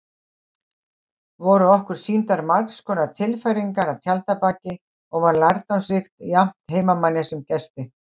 Voru okkur sýndar margskonar tilfæringar að tjaldabaki og var lærdómsríkt jafnt heimamanni sem gesti.